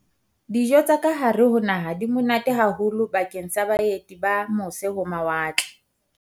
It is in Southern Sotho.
Dijo tsa kahare ho naha di monate haholo bakeng sa baeti ba mose-ho-mawatle